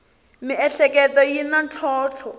miehleketo yi na ntlhontlho